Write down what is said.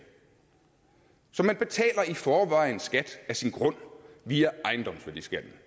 så man betaler i forvejen skat af sin grund via ejendomsværdiskatten